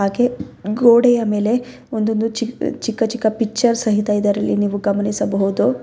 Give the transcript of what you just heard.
ಹಾಗೆ ಗೋಡೆಯ ಮೇಲೆ ಒಂದೊಂದು ಚಿಕ್ ಚಿ ಚಿಕ್ಕ ಚಿಕ್ಕ ಪಿಚ್ಚರ್ ಸಹಿತ ಇದರಲ್ಲಿ ನೀವು ಗಮನಿಸಬಹುದು.